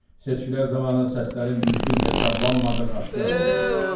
Seçkilər zamanı səslərin düzgün hesablanmadığı aşkar olunduqda.